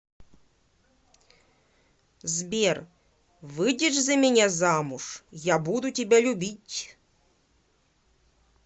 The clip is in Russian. сбер выйдешь за меня замуж я буду тебя любить